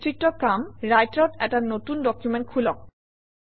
বিস্তৃত কাম ৰাইটাৰত এটা নতুন ডকুমেণ্ট খোলক